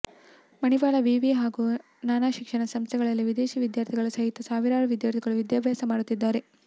ಮಣಿಪಾಲ ವಿವಿ ಹಾಗೂ ನಾನಾ ಶಿಕ್ಷಣ ಸಂಸ್ಥೆಗಳಲ್ಲಿ ವಿದೇಶಿ ವಿದ್ಯಾರ್ಥಿಗಳ ಸಹಿತ ಸಾವಿರಾರು ವಿದ್ಯಾರ್ಥಿಗಳು ವಿದ್ಯಾಭ್ಯಾಸ ಮಾಡುತ್ತಿದ್ದಾರೆ